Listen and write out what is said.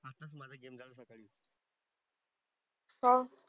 का?